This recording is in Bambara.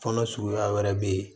Fɔnɔ suguya wɛrɛ bɛ ye